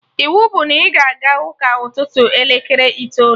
Iwu bụ na ị ga-aga ụka ụtụtụ elekere itoolu!